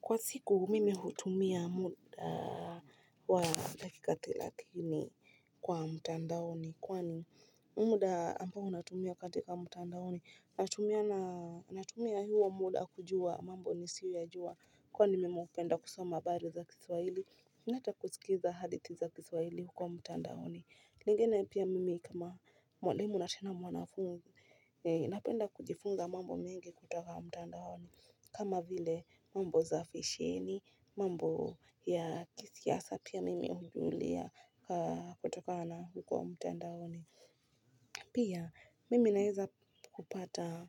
Kwa siku mimi hutumia muda wa dakika thelathini kwa mtandaoni kwani muda ambao ninatumia katika mtandaoni. Natumia huo muda kujua mambo nisiyoyajua, kwani mimi hupenda kusoma habari za Kiswahili na ata kusikiliza hadithi za Kiswahili huko mtandaoni. Lingine pia, mimi kama mwalimu na tena mwanafunzi. Napenda kujifunza mambo mengi kutoka mtandaoni, kama vile mambo ya fasheni na mambo ya kisiasa. Pia mimi hujifunza mambo hayo kutoka mtandaoni. Mimi naeza kupata